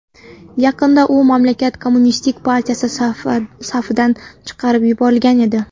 Yaqinda u mamlakat kommunistik partiyasi safidan chiqarib yuborilgan edi.